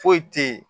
Foyi te ye